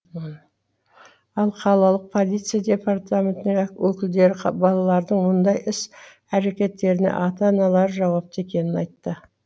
ал қалалық полиция департаментінің өкілдері балалардың мұндай іс әрекеттеріне ата аналары жауапты екенін айтты